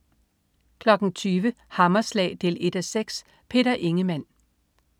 20.00 Hammerslag 1:6. Peter Ingemann